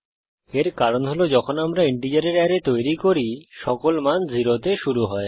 এর কারণ হল যখন আমরা ইন্টিজারের অ্যারে তৈরি করি সকল মান 0 তে শুরু হয়